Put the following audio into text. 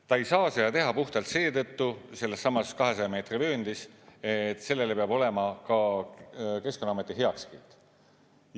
Ta ei saa seda teha puhtalt seetõttu sellessamas 200 meetri vööndis, et sellele peab olema ka Keskkonnaameti heakskiit.